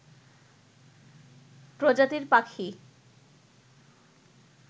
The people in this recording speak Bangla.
প্রজাতির পাখি